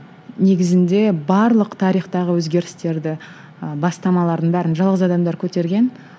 негізінде барлық тарихтағы өзгерістерді ы бастамалардың бәрін жалғыз адамдар көтерген